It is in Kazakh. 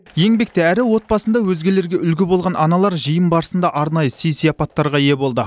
еңбекте әрі отбасында өзгелерге үлгі болған аналар жиын барысында арнайы сый сыйапаттарға ие болды